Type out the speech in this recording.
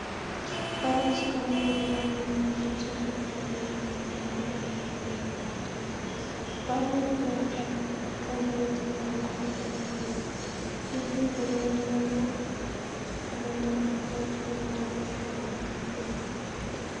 ባለ ብዙ ቀለም ያለው ባቡር ረጅም ምሰሶዎች ባለው የባቡር ድልድይ ላይ እየሄደ ነው። ባቡሩ ግራጫ፣ ቀይ፣ ነጭና አረንጓዴ ቀለም አለው። ድልድዩ በደረቅና ቡናማ ኮረብታዎች በተሞላ ሜዳ መካከል ይገኛል።